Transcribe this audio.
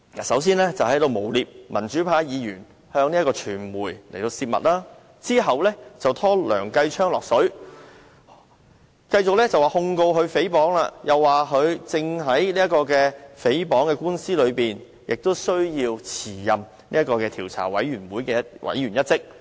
首先是誣衊民主派議員向傳媒泄密，然後又把梁繼昌議員拉扯進來，繼控告他誹謗後，又指他正面對誹謗官司，須辭任專責委員會委員一職。